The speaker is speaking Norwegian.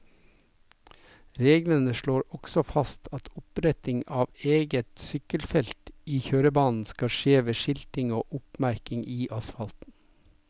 Reglene slår også fast at oppretting av eget sykkelfelt i kjørebanen skal skje ved skilting og oppmerking i asfalten.